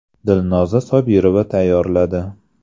Dilnoza Sobirova tayyorladi.